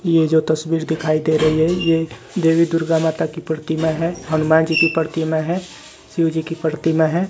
ये जो तस्वीर दिखाई दे रही है ये देवी दुर्गा माता की प्रतिमा है हनुमान जी की प्रतिमा है शिव जी की प्रतिमा है।